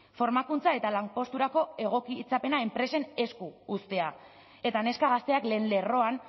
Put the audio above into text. formakuntza eta lanposturako egokitzapena enpresen esku uztea eta neska gazteak lehen lerroan